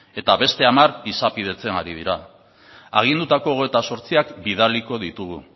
eta beste hamar izapidetzen ari dira agindutako hogeita zortziak bidaliko ditugu